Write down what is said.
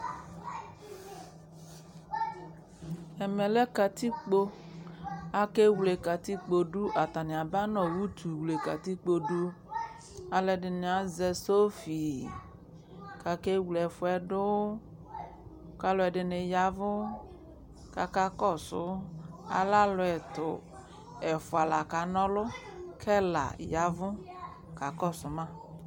Ɛmɛ lɛ katikpo Akewle katikpo dʋ Atanɩ aba nʋ utuwle katikpo dʋ Alʋɛdɩnɩ azɛ sofi kʋ akewle ɛfʋ yɛ dʋ kʋ alʋɛdɩnɩ ya ɛvʋ kʋ akakɔsʋ, alɛ alʋ ɛtʋ Ɛfʋa la kana ɔlʋ kʋ ɛla ya ɛvʋ kakɔsʋ ma